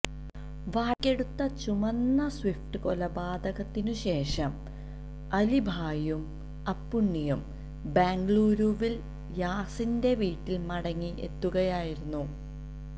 വാടകയ്ക്കെടുത്ത ചുമന്ന സ്വിഫ്റ്റില് കൊലപാതകത്തിനുശേഷം അലിഭായിയും അപ്പുണ്ണിയും ബെംഗളുരുവില് യാസിന്റെ വീട്ടില് മടങ്ങിയെത്തുകയായിരുന്നു